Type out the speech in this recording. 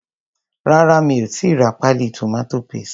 Rárá mi ò tíì ra páálí tomato paste.